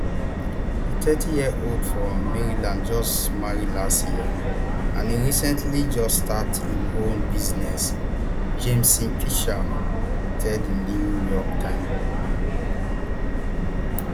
di thirtyyearold from maryland just marry last year and e recently just start im own business jameson pitcher tell di new york times